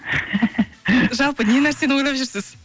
жалпы не нәрсені ойлап жүрсіз